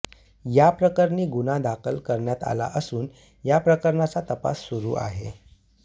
याप्रकरणी गुन्हा दाखल करण्यात आला असून या प्रकरणाचा तपास सुरू आहे